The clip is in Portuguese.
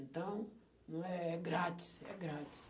Então, não é, é grátis, é grátis.